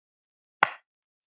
Ég sakna Garðars og Köllu.